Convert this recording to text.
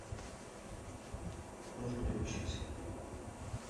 нужно ли учиться